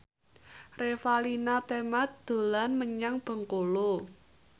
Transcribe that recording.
Revalina Temat dolan menyang Bengkulu